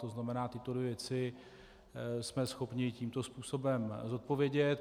To znamená, tyto dvě věci jsme schopni tímto způsobem zodpovědět.